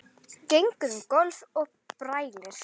Gengur um gólf og brælir.